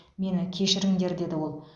мені кешіріңдер деді ол